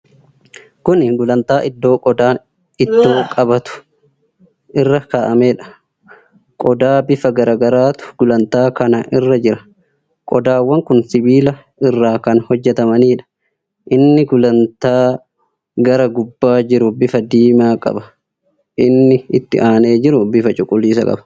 Kuni gulantaa iddoo qodaan ittoo qabatu irra kaa'ameedha. Qodaa bifa garaagaraatu gulantaa kana irra jira. Qodaawwan kun sibiila irraa kan hojjatamaniidha. Inni gulantaa gara gubbaa jiru bifa diimaa qaba inni itti aanee jiru bifa cuquliisa qaba.